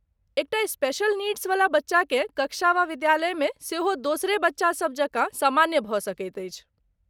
एकटा special needs वला बच्चाकेँ कक्षा वा विद्यालय मे सेहो दोसरे बच्चा सभ जकाँ समस्या भऽ सकैत छै।